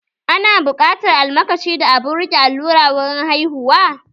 Ana buƙatar almakashi da abun rike allura wurin haihuwa?